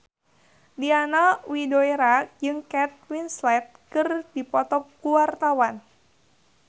Diana Widoera jeung Kate Winslet keur dipoto ku wartawan